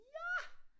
Ja